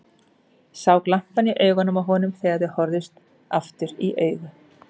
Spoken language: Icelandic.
Sá glampann í augunum á honum þegar þau horfðust aftur í augu.